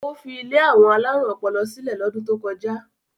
Ó fi ilé àwọn alárùn ọpọlọ sílẹ̀ lọ́dún tó kọjá?